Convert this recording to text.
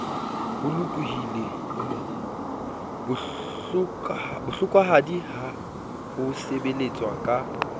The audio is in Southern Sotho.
bohlokwahadi ya ho sebeletswa ka